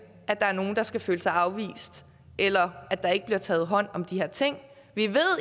at der er nogen der skal føle sig afvist eller at der ikke bliver taget hånd om de her ting vi ved at